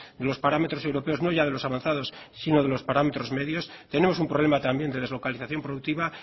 de los parámetros europeos no ya de los avanzados sino de los parámetros medios tenemos un problema también de deslocalización productiva